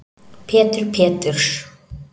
Pétur Péturs